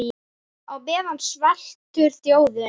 Á meðan sveltur þjóðin.